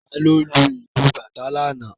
Ta ni ó lu ìlú bàtá lánàá?